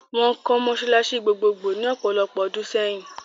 Wọ́n kọ́ mọ́sálásí gbogbogbò ní ọ̀pọ̀lopọ̀ ọdún sẹ́yìn.